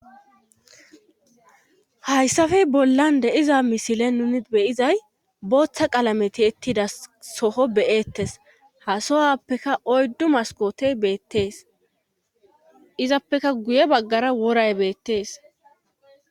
hayssafey bollan de'iza misile nuni beyizay booththa qalameti ettida soho beyeettes hasowappeka oyddu maskotey beettees izappeka guye baggara woray beettees